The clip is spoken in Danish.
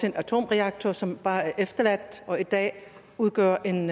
en atomreaktor som bare er efterladt og i dag udgør en